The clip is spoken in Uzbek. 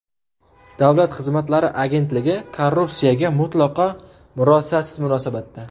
Davlat xizmatlari agentligi korrupsiyaga mutlaqo murosasiz munosabatda.